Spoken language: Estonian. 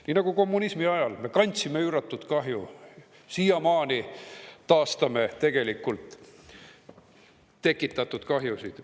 Nii nagu kommunismi ajal me kandsime üüratu kahju, siiamaani taastame tegelikult tekitatud kahjusid.